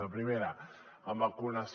la primera en vacunació